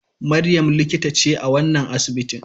Maryam likita ce a wannan asibitin.